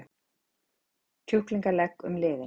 kjúklingalegg um liðinn.